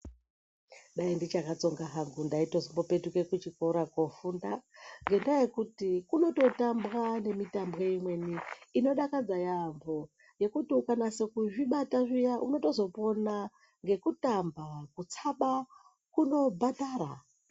Dai ndichakatsonga hangu ndaizotopetuka kuchikoro kofunda ngendaa yekuti kunototambwa nemitambo imweni inodakadza yaambo ngekuti ukanasa kuzvibata zviya unotozopona ngekutamba ngekutsaba kunobhadhara.